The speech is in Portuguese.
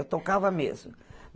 Eu tocava mesmo.